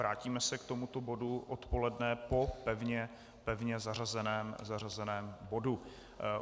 Vrátíme se k tomuto bodu odpoledne po pevně zařazeném bodu.